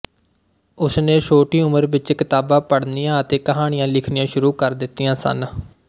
ਉਸ ਨੇ ਛੋਟੀ ਉਮਰ ਵਿੱਚ ਕਿਤਾਬਾਂ ਪੜ੍ਹਨੀਆਂ ਅਤੇ ਕਹਾਣੀਆਂ ਲਿਖਣੀਆਂ ਸ਼ੁਰੂ ਕਰ ਦਿੱਤੀਆਂ ਸਨ